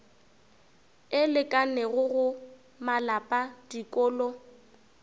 e lekanego go malapa dikolo